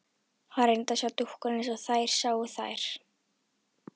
Hann reyndi að sjá dúkkuna eins og þeir sáu þær.